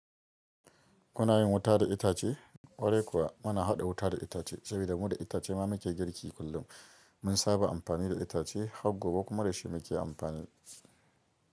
Kuna yin wuta da itace, ƙwarai kuwa muna haɗa wuta da itace saboda mu da itace ma muke girki kullum. Mun saba amfani da itace, haggo be kuma da shi muke amfani.